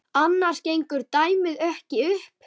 Annars gengur dæmið ekki upp.